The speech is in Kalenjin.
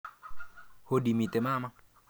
Hodi, mitei mama?